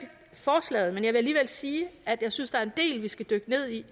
forslaget vil alligevel sige at jeg synes der er en del vi skal dykke ned i